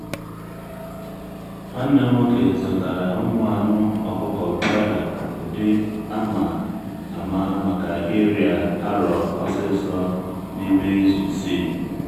nwanne m'woke zụtara ụmụ anụ ọkụkọ broiler ụdị a ma ama maka ịrịa arọ osisor n’ime izu isii.